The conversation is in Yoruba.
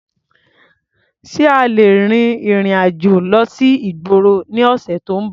Ṣé a lè rin ìrìn-àjò lọ sí ìgboro ní ọ̀sẹ̀ tó ń bọ̀?